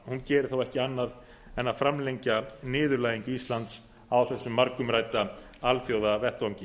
geri þá ekki annað en að framfylgja niðurlægingu íslands á þessum margumrædda alþjóðavettvangi